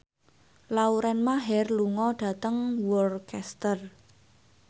Lauren Maher lunga dhateng Worcester